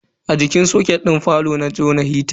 A jikin soket din falo na jona hita.